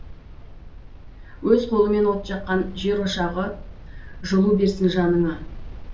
өз қолымен от жаққан жерошағы жылу берсін жанына